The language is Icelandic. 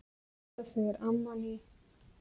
Þetta segir amman í